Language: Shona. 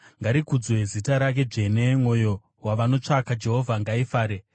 Ngarikudzwe zita rake dzvene; mwoyo yavanotsvaka Jehovha ngaifare.